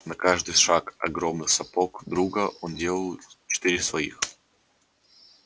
на каждый шаг огромных сапог друга он делал три-четыре своих